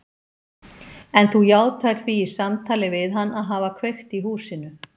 En þú játaðir því í samtali við hann að hafa kveikt í húsinu.